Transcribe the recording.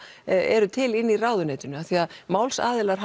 eru til inn í ráðuneytinu af því að málsaðilar